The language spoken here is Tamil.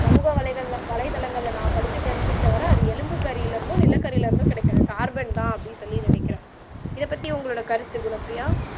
சமூக வலைத்தளங்கள்ல நான் படிசி தெரிஞ்சு கிட்ட வர அது எழும்பு கரில இருந்தும் நிலக்கரில இருந்தும் கிடைக்கிற கார்பன் தான் அப்பிடி சொல்லி நினைக்கிறேன் இத பத்தி உங்களுடைய கருத்து குணப்பிரியா